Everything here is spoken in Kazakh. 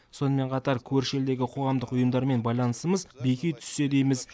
сонымен қатар көрші елдегі қоғамдық ұйымдармен байланысымыз беки түссе дейміз